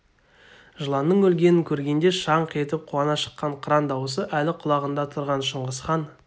жыланның өлгенін көргенде шаңқ етіп қуана шыққан қыран даусы әлі құлағында тұрған шыңғысхан